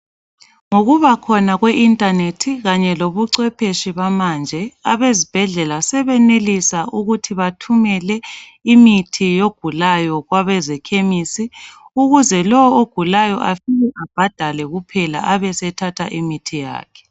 Ngokubakhona kwe inthanethi kanye labocwepheshe bamanje, abezibhedlela sebesenelisa ukuthi bathumele imithi yogulayo kwabamakhemisi ukuze lowo ogulayo afike abhadale kuphela abesethatha imithi yakhe.